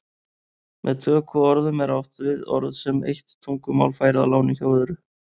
Með tökuorðum er átt við orð sem eitt tungumál fær að láni hjá öðru.